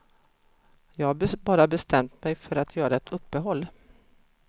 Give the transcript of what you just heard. Jag har bara bestämt mig för att göra ett uppehåll.